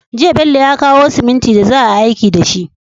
Jiya Bello ya kawo simintin da za a yi aiki dashi